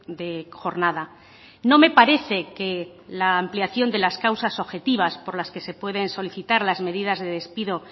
de jornada no me parece que la ampliación de las causas objetivas por las que se pueden solicitar las medidas de despido